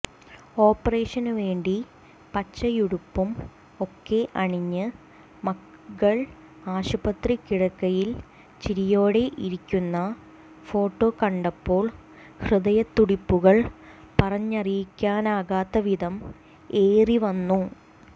ഓപ്പറേഷനുവേണ്ടി പച്ചയുടുപ്പും ഒക്കെ അണിഞ്ഞ് മകൾ ആശുപത്രി കിടക്കയിൽ ചിരിയോടെ ഇരിക്കുന്ന ഫോട്ടോ കണ്ടപ്പോൾ ഹൃദയത്തുടിപ്പുകൾ പറഞ്ഞറിയിക്കാനാകാത്തവിധം ഏറിവന്നു